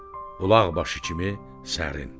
bulaq başı kimi sərin.